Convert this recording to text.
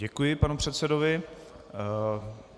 Děkuji panu předsedovi.